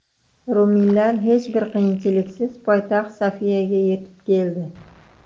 Ruminlar hech bir qiyinchiliksiz poytaxt Sofiyaga yetib keldi.